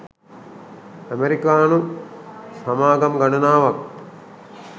අමෙරිකානු සමාගම් ගණනාවක්